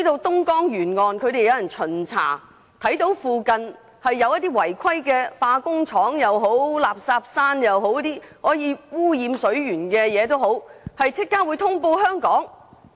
東江沿岸是否有人進行巡查，一旦發現有違規化工廠或垃圾山等污染水源的情況，便會立刻通報香港？